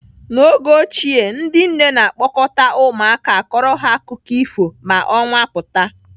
N'oge ochie ndị nne na-a kpọkọta ụmụaka akọrọ ha akụkọ ifo ma ọnwa pụta.